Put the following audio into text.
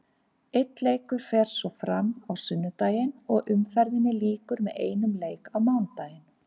Einn leikur fer svo fram á sunnudaginn og umferðinni lýkur með einum leik á mánudaginn.